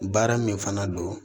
Baara min fana don